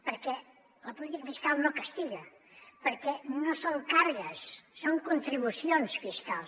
perquè la política fiscal no castiga perquè no són càrregues són contribucions fiscals